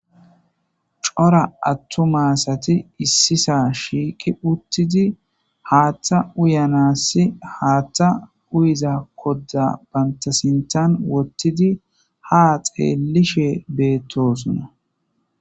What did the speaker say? Cora attuma asati issi sohon shiiqi uttidi haaththa uyanassi haaththa uyiza kodda banta sintan wottidi ha xeelishe beettosona.